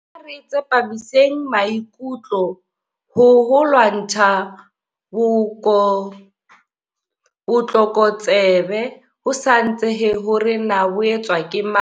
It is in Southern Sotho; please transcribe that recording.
Ha re tsepamiseng maikutlo ho ho lwantsha botlokotsebe, ho sa natsehe hore na bo etswa ke mang.